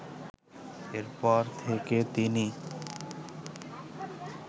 এরপর থেকে তিনি